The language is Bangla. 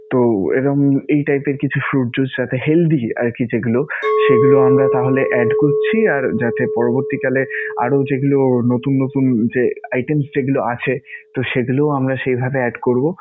তো এরম এই type এর কিছু fruit juice যাতে healthy আরকি যেগুলো সেগুলো আমরা তাহলে add করছি. আর যাতে পরবর্তীকালে আরও যেগুলো নতুন নতুন যে items যেগুলো আছে, তো সেগুলো আমরা সেইভাবে add করবো.